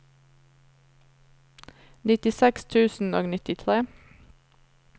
nittiseks tusen og nittitre